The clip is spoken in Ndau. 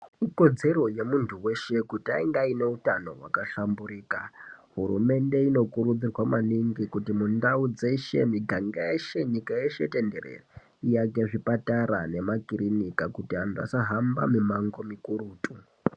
Ikodzero yemuntu weshe kuti ange aine utano wakahlamburuka hurumende inokurudzirwa maningi kuti mundau dzese munganga yeshe nyika yeshe tenderere iyake zvipatara nemakirinika kuti antu asahamba mimango mukurutu.